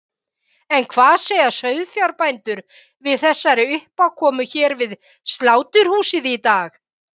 En hvað segja sauðfjárbændur við þessari uppákomu hér við sláturhúsið í dag?